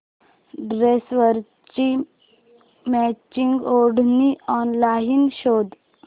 ड्रेसवरची मॅचिंग ओढणी ऑनलाइन शोध